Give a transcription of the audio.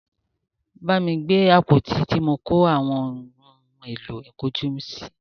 Bámi gbé àpótí tí mọ kó àwọn ohun èlò ìkun ojú sí!